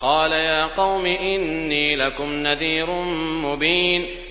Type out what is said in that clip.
قَالَ يَا قَوْمِ إِنِّي لَكُمْ نَذِيرٌ مُّبِينٌ